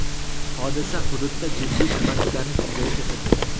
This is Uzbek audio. Hodisa hududda jiddiy tirbandliklarni yuzaga keltirdi.